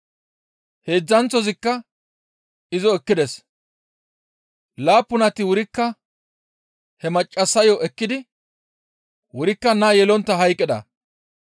heedzdzanththozikka izo ekkides; laappunati wurikka he maccassayo ekkidi wurikka naa yelontta hayqqida.